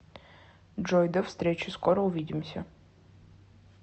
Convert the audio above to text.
джой до встречи скоро увидимся